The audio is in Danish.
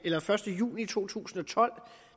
første juli to tusind og tolv